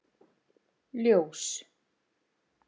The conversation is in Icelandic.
Ljós